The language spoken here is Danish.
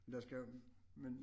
Lad os gøre men